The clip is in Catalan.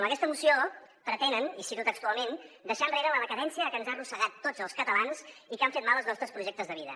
amb aquesta moció pretenen i cito textualment deixar enrere la decadència que ens ha arrossegat a tots els catalans i que ha fet mal als nostres projectes de vida